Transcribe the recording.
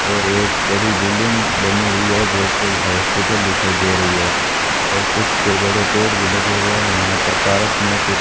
और एक बड़ी बिल्डिंग बनी हुई है जो कोई हॉस्पिटल दिखाई दे रही है और कुछ बड़े पेड़ भी लगे हुए है यहां पर पार्क मे कुछ --